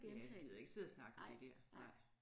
Ja vi gider ikke sidde og snakke om det der nej